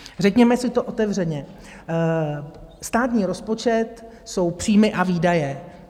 Řekněme si to otevřeně, státní rozpočet jsou příjmy a výdaje.